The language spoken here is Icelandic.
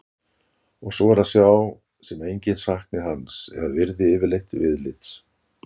Og svo er að sjá sem enginn sakni hans eða virði yfirleitt viðlits.